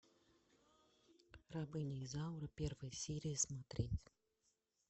рабыня изаура первая серия смотреть